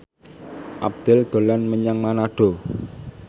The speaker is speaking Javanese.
Abdel dolan menyang Manado